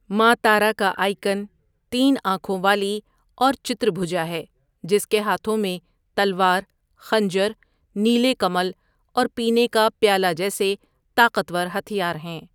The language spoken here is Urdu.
ماں تارا کا آئیکن تین آنکھوں والی اور چتربھوجا ہے، جس کے ہاتھوں میں تلوار، خنجر، نیلے کمل اور پینے کا پیالہ جیسے طاقتور ہتھیار ہیں۔